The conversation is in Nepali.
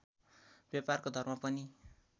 व्यापारको धर्म पनि